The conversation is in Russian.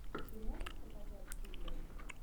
ты можешь показать триллер